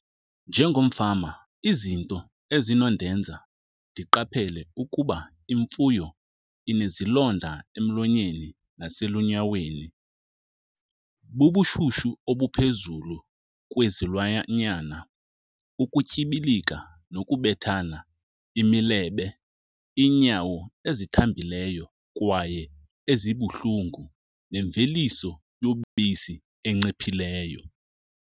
Njengomfama izinto ezinondenza ndiqaphele ukuba imfuyo inezilonda emlonyeni naselunyaweni bubushushu obuphezulu kwezilwanyana, ukutyibilika nokubethana imilebe, iinyawo ezithambileyo kwaye ezibuhlungu, nemveliso yobisi enciphileyo.